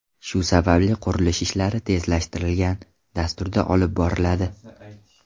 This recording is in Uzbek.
Shu sababli qurilish ishlari tezlashtirilgan dasturda olib boriladi.